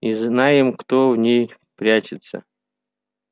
и знаем кто в ней прячется